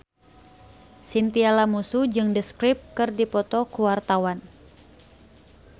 Chintya Lamusu jeung The Script keur dipoto ku wartawan